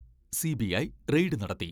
CBI raid നടത്തി.